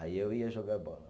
Aí eu ia jogar bola.